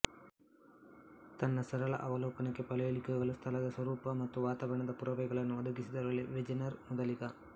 ತನ್ನ ಸರಳ ಅವಲೋಕನಕ್ಕೆ ಪಳಿಯುಳಿಕೆಗಳು ಸ್ಥಳದ ಸ್ವರೂಪ ಮತ್ತು ವಾತಾವರಣದ ಪುರಾವೆಗಳನ್ನು ಒದಗಿಸಿದವರಲ್ಲಿ ವೆಜೆನರ್ ಮೊದಲಿಗ